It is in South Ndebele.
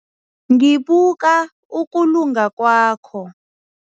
Ngibuka ukulunga kwakho.